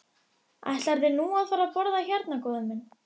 Mamma var í raun hin fullkomna húsmóðir.